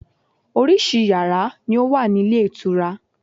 Orísìí yàrá ni ó wà ní ilé ìtura.